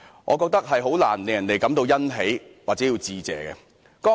我覺得這難以令人感到欣喜或認為要致謝。